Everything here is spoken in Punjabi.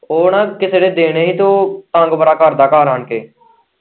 ਉਹ ਨਾ ਕਿਸੇ ਦੇ ਦੇਣੇ ਹੀ ਤੇ ਉਹ ਤੰਗ ਬੜਾ ਕਰਦਾ ਘਰ ਆਣ ਕੇ।